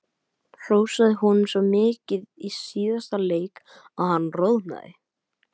Hrósaði honum svo mikið í síðasta leik að hann roðnaði.